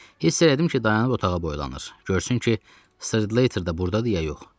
Hiss elədim ki, dayanıb otağa boylanır, görsün ki, Slayter də burdadı ya yox.